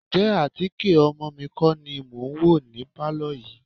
Ǹjẹ́ àtíkè ọmọ mi kọ́ ni mò ń wò ní pálọ̀ yìí?